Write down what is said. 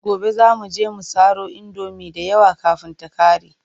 Gobe za mu je mu saro indomi da yawa kafin ta ƙare.